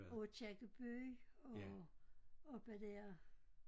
Og Aakirkeby og oppe der